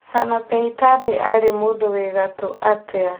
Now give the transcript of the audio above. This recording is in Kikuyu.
Sanapei Tande arĩ mũndũ wĩ ngatũ atĩa